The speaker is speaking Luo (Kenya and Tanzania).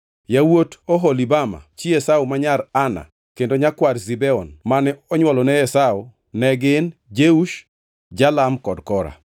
Yawuot Oholibama, chi Esau ma nyar Ana kendo nyakwar Zibeon mane onywolone Esau ne gin: Jeush, Jalam kod Kora.